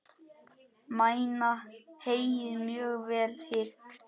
Mæna heyið mjög vel hygg.